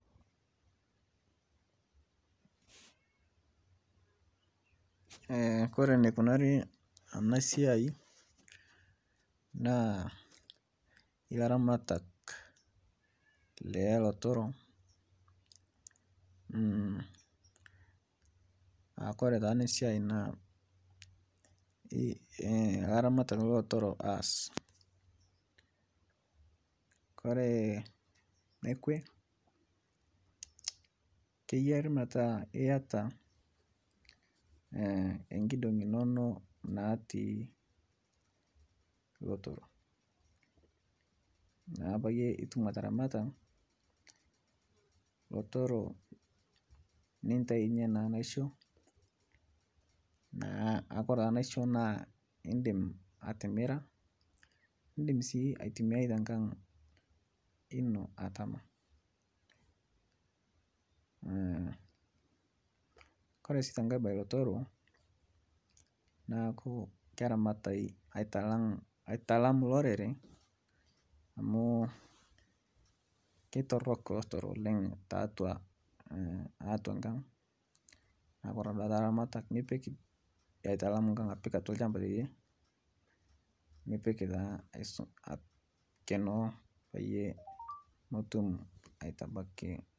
Kore neikunari ana siai naa laramatak lelotoroo aakore taa ana siai naa laramatak lelotoro aas kore nekwee keyari metaa iataa enkidongi inono natii lotoroo naa payie itum ataramataa lotoroo nintainye naa naisho naa aakore taa naisho naa indim atimiraa indim sii aitumiai tenkang' inoo atama. Kore sii tenkai bai lotoro naaku keramatai aitalang' aitalam lorere amu keitorok lotoroo oleng' taatua , taatua nkang' naaku kore naaduake te laramatak nipik aitalam nkang' apik atua lchampa teidie nipik taa aikenoo paiye motum aitabaki.